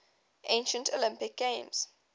ancient olympic games